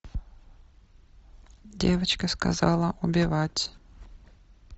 девочка сказала убивать